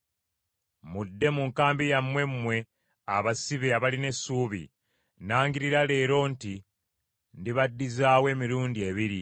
Mudde mu nkambi yammwe mmwe abasibe abalina essuubi; nangirira leero nti ndibadizaawo emirundi ebiri.